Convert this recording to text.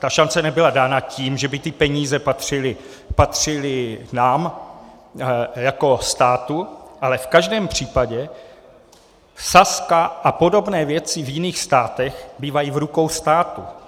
Ta šance nebyla dána tím, že by ty peníze patřily nám jako státu, ale v každém případě Sazka a podobné věci v jiných státech bývají v rukou státu.